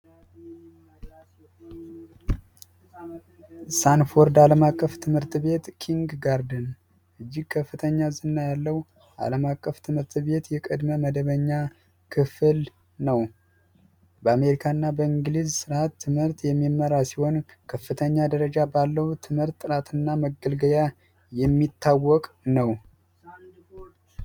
አለም አቀፍ ትምህርት ቤት ኪንግ ጋር እጅግ ከፍተኛ ያለው ዓለም አቀፍ ትምህርት ቤት የቅድመ መደበኛ ክፍል ነው በአሜሪካና በእንግሊዝ ትምህርት የሚመራ ሲሆን ከፍተኛ ደረጃ ባለው ትምህርት ጥናትና መገልገያ የሚታወቅ ነው